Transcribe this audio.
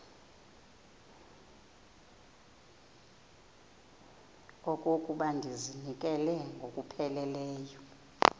okokuba ndizinikele ngokupheleleyo